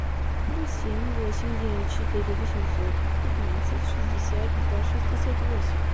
плюс семь восемь девять четыре восемьсот пятнадцать шестьдесят два шестьдесят восемь